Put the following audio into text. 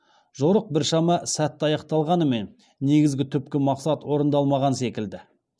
жорық біршама сәтті аяқталғанымен негізгі түпкі мақсат орындалмаған секілді